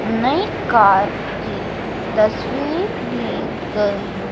नई कार की तस्वीर ली गई--